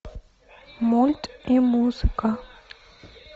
мульт и музыка